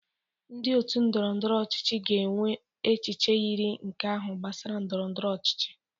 Ndị otu ndọrọ ndọrọ ọchịchị ga-enwe echiche yiri nke ahụ gbasara ndọrọ ndọrọ ọchịchị